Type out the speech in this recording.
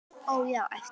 Ó, já, æpti hún.